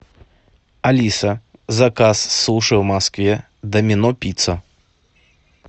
алиса заказ суши в москве домино пицца